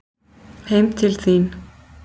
Heim til þín